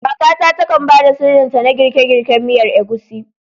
Kakata takan ba da sirrinta na girke-girken miyar Egusi.